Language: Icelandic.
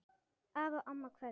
Afi og amma kveðja